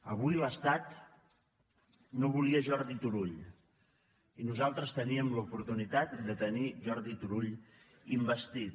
avui l’estat no volia jordi turull i nosaltres teníem l’oportunitat de tenir jordi turull investit